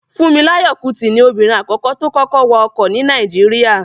Fúnmiláyọ̀ Kútì ni obìnrin àkọ́kọ́ tó kọ́kọ́ wa ọkọ̀ ní Nàìjíríyà